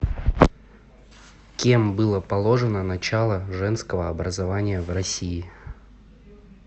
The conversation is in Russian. кем было положено начало женского образования в россии